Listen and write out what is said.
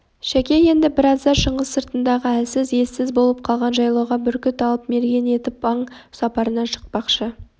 шәке енді бір азда шыңғыс сыртындағы елсіз ессіз болып қалған жайлауға бүркіт алып мерген ертіп аң сапарына шықпақшы